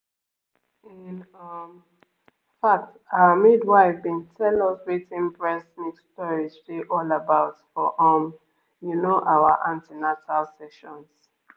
in um fact our midwife been tell us wetin breast milk storage dey all about for um you know our an ten atal sessions